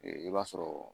I b'a sɔrɔ